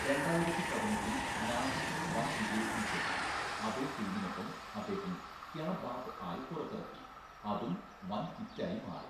രണ്ടായിരത്തി പതിനെട്ടില്‍ നാഹിന്‍റെ വൻ വിജയത്തിന് ശേഷം അതേ ടീമിനൊപ്പം അദ്ദേഹം ക്യാ ബാത് ആയ് പുറത്തിറക്കി, അതും വൻ ഹിറ്റായി മാറി.